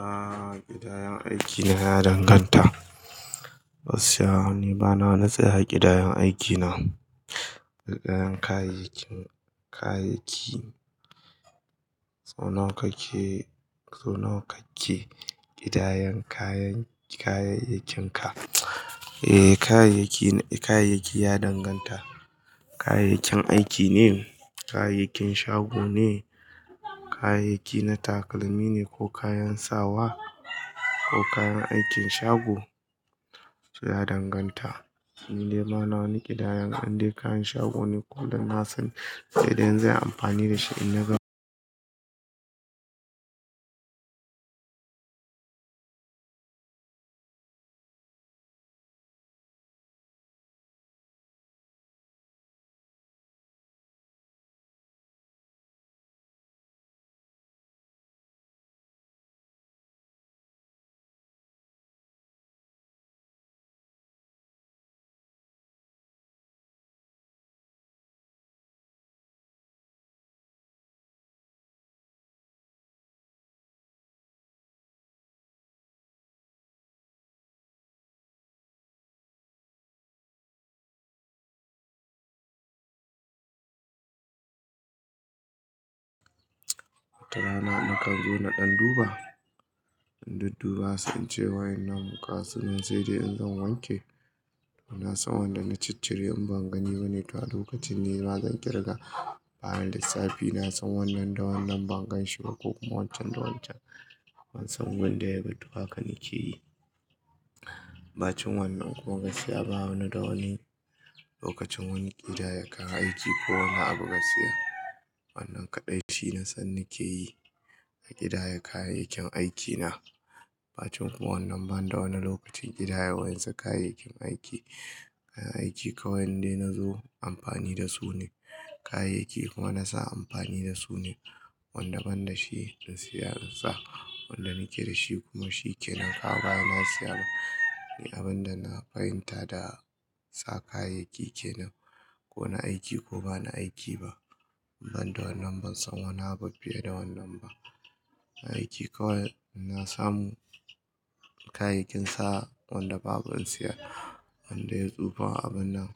Aaa ƙidayan aikina ya danganta. Gaskiya wani, bana na tsaya ƙidayan aikina. Ƙidayan kayayyakin, kayayyaki. So nawa kake, so nawa kake ƙidayan kayan, kayayyakinka? E, kayayyaki, kayayyaki ya danganta. Kayayyakin aiki ne, kayayyakin shago ne, kayayyaki na takalmi ne ko kayan sawa ko kayan aikin shago, su ya danganta. Ni dai bana wani ƙidayan, in dai kayan shago ne ko dan nasan sai dai in za'ayi amfani da shi in na ga. Wata rana mukan zo na ɗan duba, mun dudduba sun ce waye nan muka sigan sai dai in zan wanke. Na san wanda na cittiri in ban gani ba ne, to a lokacin ni bazan ƙirga bayan lissafi. Na san wannan da wannan ban ganshi ba ko kuma waccan da waccan. Ban san wanda ya battu haka nake yi. Ba cin wannan kuma gasiya ba wani da wani lokacin wani ƙidaya kayan aiki ko wanda abu gaskiya. Wannan kaɗai shi na san nake yi a ƙidaya kayayyakin aikina. Ba cin kuma wannan ban da wani lokacin ƙidaya waɗansu kayayyakin aiki. Aiki kawai nidai na zo amfani da su ne. Kayayyaki kuma na sa amfani da su ne. Wanda ban da shi in siya insa. Wanda nake da shi kuma shi kenan. Haba na siya na, abin da na fahimta da sa kayayyaki kenan. Ko na aiki ko bana aiki ba, ban da wannan ban san wani abu fiye da wannan ba. Aiki kawai ina samu kayayyakin sa wanda babu in siya. Wanda ya tsufa abun nan,